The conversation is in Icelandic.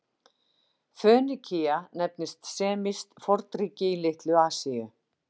Fönikía nefndist semískt fornríki í Litlu-Asíu.